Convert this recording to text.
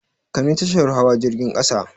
Kai ni tashar hawa jirgin ƙasa!